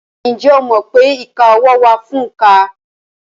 Ǹjẹ́ o mọ̀ pé ìka ọwọ́ wà fún òǹkà?